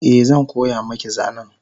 Eh zan koya maki zanen